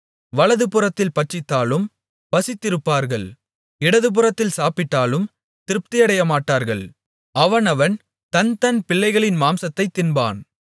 வலதுபுறத்தில் பட்சித்தாலும் பசித்திருப்பார்கள் இடதுபுறத்தில் சாப்பிட்டாலும் திருப்தியடையமாட்டார்கள் அவனவன் தன்தன் பிள்ளைகளின் மாம்சத்தைத் தின்பான்